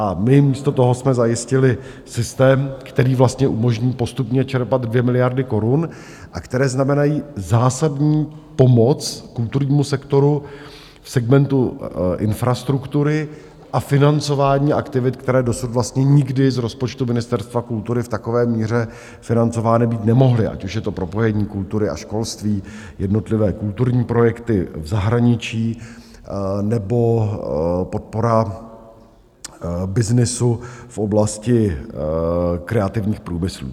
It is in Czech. A my místo toho jsme zajistili systém, který vlastně umožní postupně čerpat 2 miliardy korun a které znamenají zásadní pomoc kulturnímu sektoru v segmentu infrastruktury a financování aktivit, které dosud vlastně nikdy z rozpočtu Ministerstva kultury v takové míře financovány být nemohly, ať už je to propojení kultury a školství, jednotlivé kulturní projekty v zahraničí nebo podpora byznysu v oblasti kreativních průmyslů.